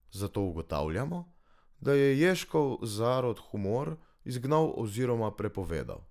Zato ugotavljamo, da je Ježkov zarod humor izgnal oziroma prepovedal.